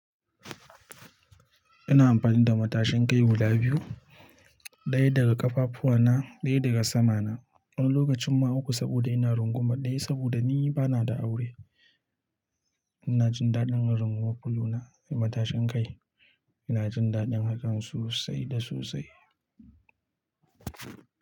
Ina amfani da matashin kai guda biyu, ɗaya daga ƙafafuwana, ɗaya daga sama na. Wani lokacin ma uku saboda ina runguman ɗaya saboda ni bana da aure. Ina jin daɗin in runguma fulo na da matashin kai. Ina jin daɗin hakan sosai da sosai.